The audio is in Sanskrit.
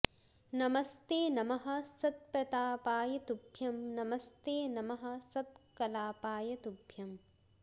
नमस्ते नमः सत्प्रतापाय तुभ्यं नमस्ते नमः सत्कलापाय तुभ्यम्